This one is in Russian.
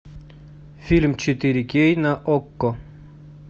фильм четыре кей на окко